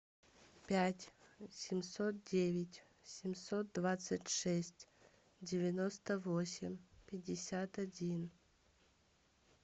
пять семьсот девять семьсот двадцать шесть девяносто восемь пятьдесят один